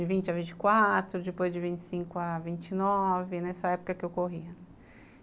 de vinte a vinte e quatro, depois de vinte e cinco a vinte e nove, nessa época que eu corria.